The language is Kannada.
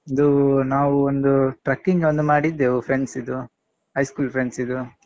ಅದು ನಾವು ಒಂದು Trekking ಒಂದು ಮಾಡಿದ್ದೆವು friends ಇದ್ದು high school friends ಇದ್ದು.